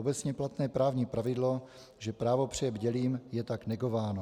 Obecně platné právní pravidlo, že právo přeje bdělým, je tak negováno.